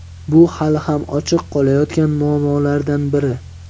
Bu hali ham ochiq qolayotgan muammolardan biri.